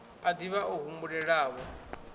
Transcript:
a div ha o humbulelavho